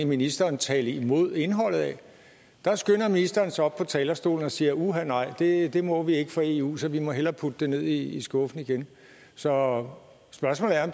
ministeren tale imod indholdet af skynder ministeren sig op på talerstolen og siger uha nej det det må vi ikke for eu så vi må hellere putte det ned i i skuffen igen så spørgsmålet er